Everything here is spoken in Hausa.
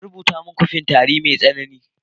An rubuta min "coffin " don tari mai tsanani.